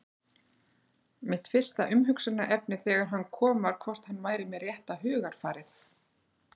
Mitt fyrsta umhugsunarefni þegar hann kom var hvort hann væri með rétta hugarfarið?